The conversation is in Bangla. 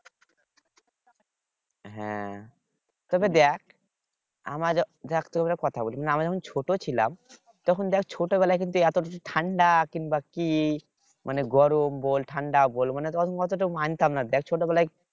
হ্যাঁ তবে দেখ আমাদের দেখ তোকে একটা কথা বলি না আমরা যখন ছোট ছিলাম তখন দেখ ছোটবেলায় কিন্তু এতকিছু ঠাণ্ডা কিংবা কি মানে গরম বল ঠান্ডা বল মানে তখন অতোটা মানতাম না দেখ ছোট বেলায়